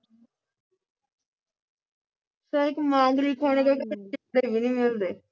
ਫਿਰ ਇਕ ਮਾਂਗਲਿਕ ਹੋਣੇ